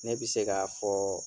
Ne bi se ka fɔ